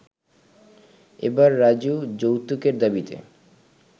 এবার রাজু যৌতুকের দাবিতে